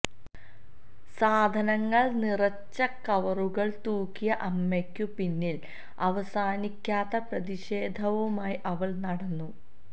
സാധനങ്ങള് നിറച്ച കവറുകള് തൂക്കിയ അമ്മയ്ക്കു പിന്നില് അവസാനിക്കാത്ത പ്രതിഷേധവുമായി അവള് നടന്നു